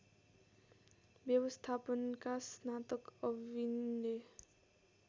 व्यवस्थापनका स्नातक अविनले